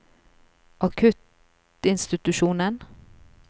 akuttinstitusjonen